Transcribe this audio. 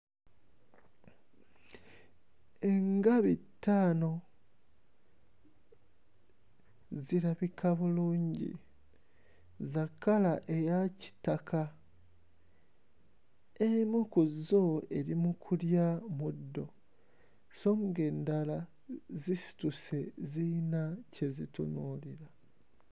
Engabi ttaano zirabika bulungi, za kkala eya kitaka. Emu ku zo eri mu kulya muddo sso ng'endala zisituse, ziyina kye zitunuulira.